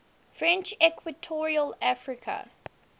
french equatorial africa